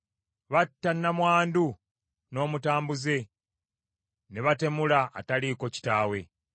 Batta nnamwandu n’omutambuze; ne batemula ataliiko kitaawe.